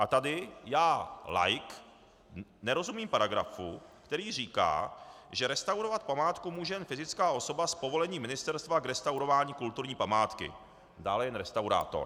A tady já laik nerozumím paragrafu, který říká, že restaurovat památku může jen fyzická osoba s povolením ministerstva k restaurování kulturní památky, dále jen restaurátor.